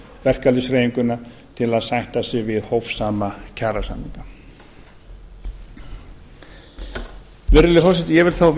verkalýðshreyfinguna til að sætta sig við hófsama kjarasamninga virðulegi forseti ég vil þá